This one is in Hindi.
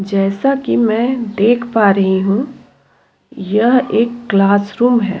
जैसा कि मैं देख पा रही हूँ यह एक क्लासरूम है।